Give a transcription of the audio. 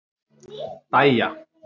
Dæja